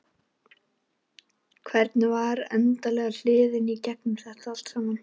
Hvernig var andlega hliðin í gegnum þetta allt saman?